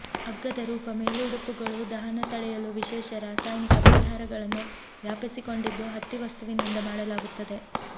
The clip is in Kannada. ಅಗ್ಗದ ರೂಪ ಮೇಲುಡುಪುಗಳು ದಹನ ತಡೆಯಲು ವಿಶೇಷ ರಾಸಾಯನಿಕ ಪರಿಹಾರಗಳನ್ನು ವ್ಯಾಪಿಸಿಕೊಂಡಿದ್ದು ಹತ್ತಿ ವಸ್ತುವಿನಿಂದ ಮಾಡಲಾಗುತ್ತದೆ